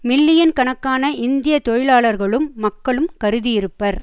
million கணக்கான இந்திய தொழிலாளர்களும் மக்களும் கருதியிருப்பர்